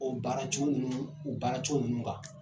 O baaracogo minnu u baaracogo ninnu kan